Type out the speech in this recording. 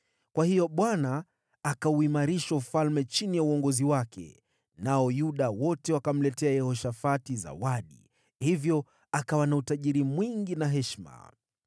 Kwa hiyo Bwana akauimarisha ufalme chini ya uongozi wake, nao Yuda wote wakamletea Yehoshafati zawadi, hivyo akawa na utajiri mwingi na heshima.